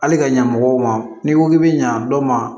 Hali ka ɲɛmɔgɔw ma n'i ko k'i bɛ ɲa dɔ ma